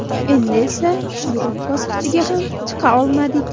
Endi esa guruh bosqichiga ham chiqa olmadik.